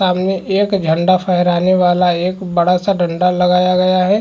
सामने एक झंडा फहराने वाला एक बड़ा सा डंडा लगाया गया है।